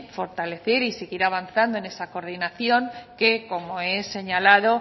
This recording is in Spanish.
fortalecer y seguir avanzando en esa coordinación que como he señalado